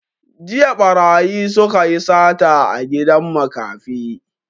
Jiya ɓarayi suka yi sata a gidan makafi